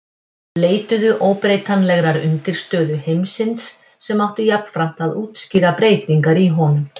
Þeir leituðu óbreytanlegrar undirstöðu heimsins sem átti jafnframt að útskýra breytingar í honum.